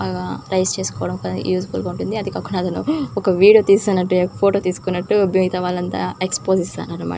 బాగా రైస్ చేసుకోవడానికి useful గా ఉంటుంది.అందుకే ఒక నెలలో ఒక వీడియో తీసినట్లుఫోటో తీసుకున్నట్లు మిగతా వాళ్ళకి ఎక్స్పోజిస్తూ ఉంటా అన్నమాట.